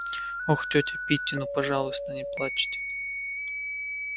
ох тётя питти ну пожалуйста не плачьте